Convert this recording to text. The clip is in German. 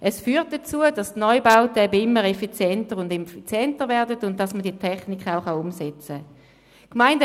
Es führt dazu, dass die Neubauten immer effizienter werden und dass man die Technik auch umsetzen kann.